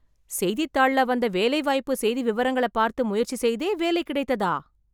செய்தித்தாள்ள வந்த வேலை வாய்ப்பு செய்தி விவரங்கள பார்த்து முயற்சி செய்தே வேலை கிடைத்ததா...